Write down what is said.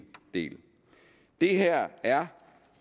del det her er